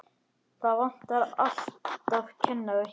Það vantar alltaf kennara hérna.